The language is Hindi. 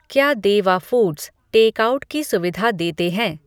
क्या देवा फूड्स टेक आउट की सुविधा देते हैं